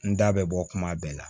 N da bɛ bɔ kuma bɛɛ la